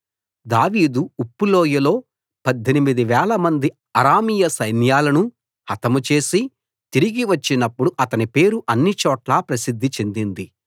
దావీదు ఉప్పు లోయలో పద్దెనిమిది వేలమంది అరామీయ సైన్యాలను హతం చేసి తిరిగి వచ్చినప్పుడు అతని పేరు అన్నిచోట్లా ప్రసిద్ది చెందింది